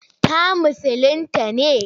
Ta musulinta ne?